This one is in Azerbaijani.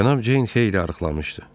Cənab Ceyn xeyli arıqlamışdı.